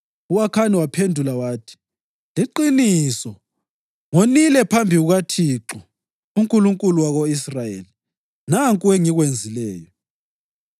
U-Akhani waphendula wathi, “Liqiniso! Ngonile phambi kukaThixo, uNkulunkulu wako-Israyeli. Nanku engikwenzileyo: